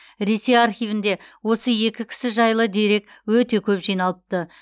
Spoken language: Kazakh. ресей архивінде осы екі кісі жайлы дерек өте көп жиналыпты